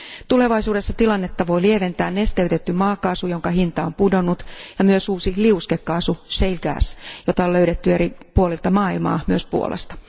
Tulevaisuudessa tilannetta voi lieventää nesteytetty maakaasu, jonka hinta on pudonnut ja myös uusi liuskekaasu, shale gas, jota on löydetty eri puolilta maailmaa, myös Puolasta.